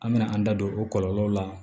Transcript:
An bɛna an da don o kɔlɔlɔw la